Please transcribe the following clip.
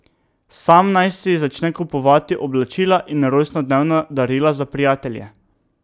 Sam naj si začne kupovati oblačila in rojstnodnevna darila za prijatelje.